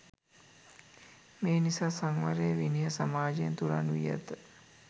මේ නිසා සංවරය, විනය සමාජයෙන් තුරන් වී ඇත.